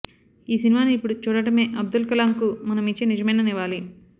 ఈ సినిమాను ఇప్పుడు చూడటమే అబ్దుల్ కలాంకు మనమిచ్చే నిజమైన నివాళి